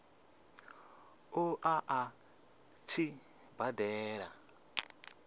ṱo ḓa a tshi badela